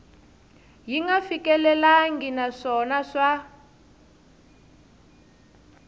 yi nga fikelelangi naswona swa